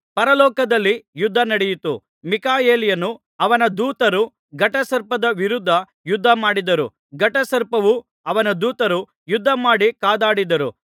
ಪರಲೋಕದಲ್ಲಿ ಯುದ್ಧ ನಡೆಯಿತು ಮೀಕಾಯೇಲನೂ ಅವನ ದೂತರೂ ಘಟಸರ್ಪದ ವಿರುದ್ಧ ಯುದ್ಧ ಮಾಡಿದರು ಘಟಸರ್ಪವೂ ಅವನ ದೂತರೂ ಯುದ್ಧ ಮಾಡಿ ಕಾದಾಡಿದರು